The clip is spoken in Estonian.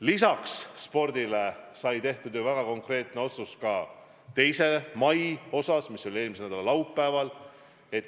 Lisaks spordile sai tehtud ju väga konkreetne otsus 2. mai kohta, mis oli eelmise nädala laupäev.